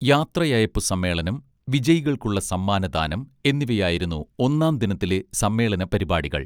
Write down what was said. യാത്രയയപ്പു സമ്മേളനം വിജയികൾക്കുള്ള സമ്മാനദാനം എന്നിവയായിരുന്നു ഒന്നാം ദിനത്തിലെ സമ്മേളന പരിപാടികൾ